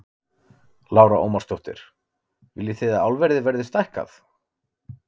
Lára Ómarsdóttir: Viljið þið að álverið verði stækkað?